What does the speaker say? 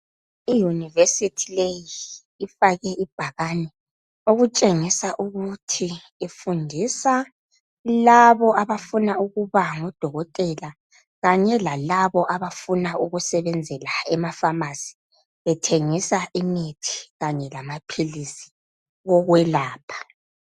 Iuniversity leyi ifake ibhakane okutshengisa ukuthi ifundisa labo abafuna ukuba ngodokotela kanye lalabo abafuna ukusebenzela ema pharmacy, bethengisa imithi kanye lamaphilisi okwelapha.